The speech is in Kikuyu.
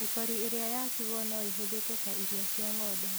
Mĩkori ĩrĩa yatigwo noĩhũthĩke ta irio cia ng'ombe.